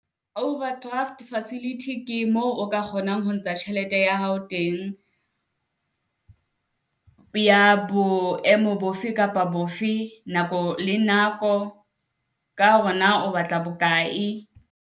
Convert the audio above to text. Overdraft facility ke moo o ka kgonang ho ntsha tjhelete ya hao teng, ya boemo bofe kapa bofe nako le nako. Ka hore na o batla bokae?